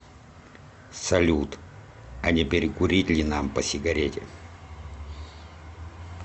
салют а не перекурить ли нам по сигарете